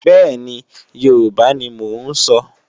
Bẹ́ẹ̀ni, Yorùbá ni mò ń sọ.